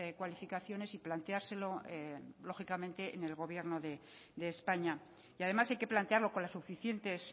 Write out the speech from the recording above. cualificaciones y planteárselo lógicamente en el gobierno de españa y además hay que plantearlo con las suficientes